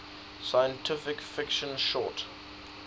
science fiction short